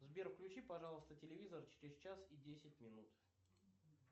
сбер включи пожалуйста телевизор через час и десять минут